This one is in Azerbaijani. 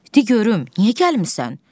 Dedi görüm niyə gəlmirsən?